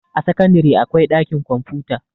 a sakandare akwai ɗakin kwamfuta